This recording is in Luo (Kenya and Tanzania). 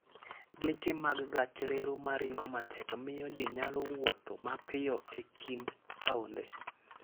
Geche mag gach reru ma ringo matek miyo ji nyalo wuotho mapiyo e kind taonde.